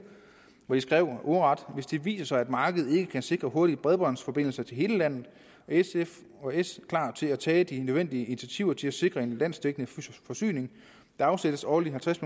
og de skrev heri ordret hvis det viser sig at markedet ikke kan sikre hurtige bredbåndsforbindelser til hele landet er s og sf klar til at tage de nødvendige initiativer til at sikre en landsdækkende forsyning der afsættes årligt halvtreds